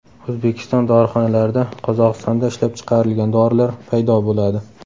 O‘zbekiston dorixonalarida Qozog‘istonda ishlab chiqarilgan dorilar paydo bo‘ladi.